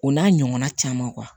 O n'a ɲɔgɔnna caman